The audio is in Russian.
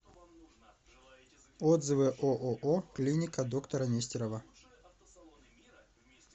отзывы ооо клиника доктора нестерова